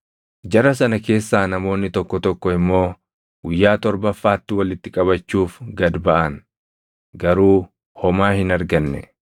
Jara sana keessaa namoonni tokko tokko immoo guyyaa torbaffaatti walitti qabachuuf gad baʼan; garuu homaa hin arganne.